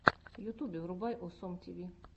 в ютубе врубай осом тиви